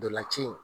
Ntolan ci in